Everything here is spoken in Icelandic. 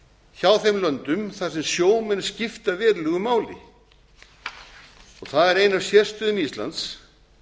hjá þeim löndum þar sem sjómenn skipta verulegu máli það er ein af sérstökum íslands